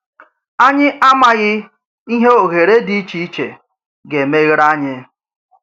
Ányị̀ àmàghì ìhè òhèrè dị iche iche gà-eméghèré ányị̀!